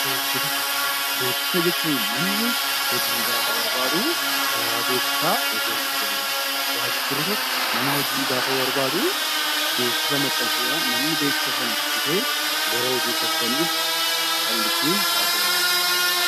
Beeksisa Beeksisa jechuun namni hojii gaafa barbaadu karaa beeksisaa hojii argachuu danda'a. Waajirri tokko nama hojii gaafa barbaadu beeksisa maxxansuudhaan namni beeksisa sana dubbisee gara hojiitti akka inni dhufu Kan ittiin taassifamudha